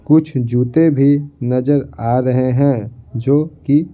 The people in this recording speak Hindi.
कुछ जूते भी नजर आ रहे हैं जो कि--